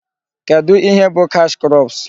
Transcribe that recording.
Kedụ ihe bụ cash crops?